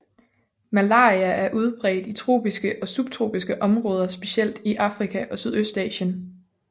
Malaria er udbredt i tropiske og subtropiske områder specielt i Afrika og Sydøstasien